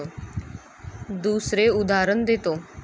दुसरे उदाहरण देतो.